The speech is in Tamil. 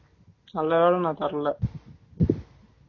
நல்ல வேல நான் தரல